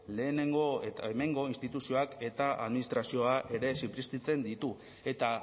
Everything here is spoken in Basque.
hemengo instituzioak eta administrazioa ere zipriztintzen ditu eta